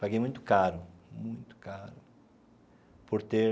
Paguei muito caro, muito caro, por ter